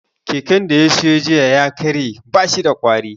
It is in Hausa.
Keken da ya siyo jiya ya karye, ba shi da ƙwari